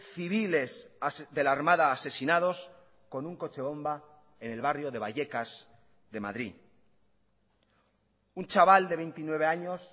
civiles de la armada asesinados con un coche bomba en el barrio de vallecas de madrid un chaval de veintinueve años